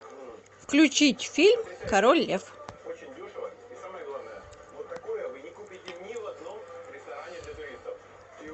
включить фильм король лев